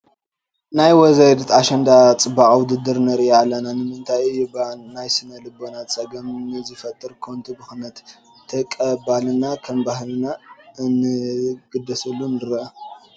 ናይ ወይዘሪት ኣሸንዳ ናይ ፅባቐ ውድድር ንርኢ ኣለና፡፡ ንምንታይ እዩ እባ ናይ ስነ ልቦና ፀገም ንዝፈጥር ከንቱ ብኽነት ተቐባልና ከም ባህልና እንትንግደሰሉ ንርአ፡፡